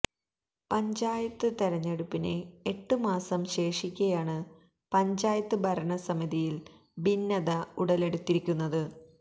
പഞ്ചായത്ത് തെരഞ്ഞെടുപ്പിന് എട്ട് മാസം ശേഷിക്കെയാണ് പഞ്ചായത്ത് ഭരണസമിതിയിൽ ഭിന്നത ഉടലെടുത്തിരിക്കുന്നത്